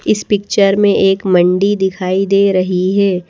इस पिक्चर में एक मंडी दिखाई दे रही है।